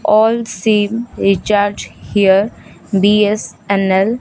all sim recharge here BSNL --